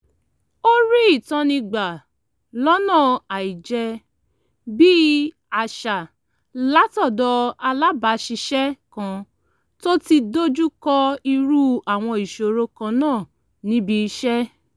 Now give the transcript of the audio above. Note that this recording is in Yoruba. ó rí ìtọ́ni gbà lọ́nà àìjẹ́-bí-àṣà látọ̀dọ̀ alábàáṣiṣẹ́ kan tó ti dojú kọ irú àwọn ìṣòro kan náà níbi iṣẹ́